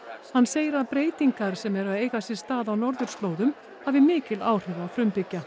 hann segir að breytingar sem eru að eiga sér stað á norðurslóðum hafa mikil áhrif á frumbyggja